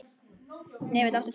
Hnefill, áttu tyggjó?